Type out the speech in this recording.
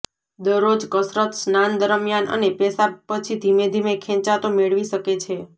દરરોજ કસરત સ્નાન દરમ્યાન અને પેશાબ પછી ધીમે ધીમે ખેંચાતો મેળવી શકે છે